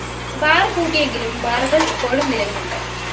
bar പൂട്ടിയെങ്കിലും ബാറുകള്‍ ഇപ്പോഴും നിലവിലുണ്ട്